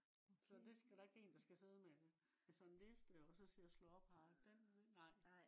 så det skal der ikke en der skal sidde med det med sådan en liste også se at slå op nej